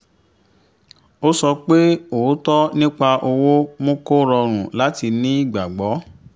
ó sọ pé òótọ́ nípa owó mú kó rọrùn láti ní ìgbàgbọ́